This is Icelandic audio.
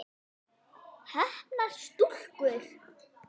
Heppnar stúlkur?